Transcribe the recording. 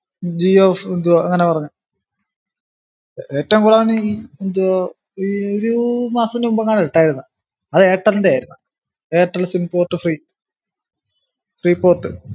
ജിയോ ഏർ എന്തുവ അങ്ങനെ പറഞ് ഏറ്റോം കൂടുതല് അവൻ ഈ എന്തുവാ ഈ ഒരു മാസത്തിന് മുന്നെയാ ഇട്ടാർന്നെ അത് എയര്ടെല്ന്റെ ആർന്ന് Airtel sim port free free port